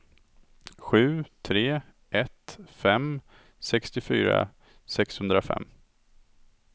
sju tre ett fem sextiofyra sexhundrafem